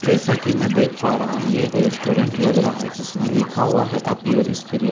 जैसा कि मैं देख पा रहा हूँ ये एक रेस्टोरेंट लग रहा है जिसमें लिखा हुआ है अप योर स्पिरिट ।